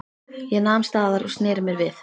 Ég nam staðar og sneri mér við.